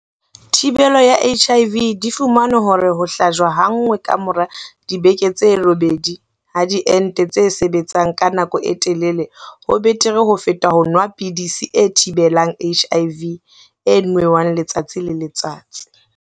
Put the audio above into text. Thibelo ya HIV, di fumane hore ho hlajwa ha nngwe ka mora dibeke tse robedi ha diente tse sebetsang ka nako e telele ho betere ho feta ho nwa pidisi e thibelang HIV e nwewang letsatsi le letsatsi.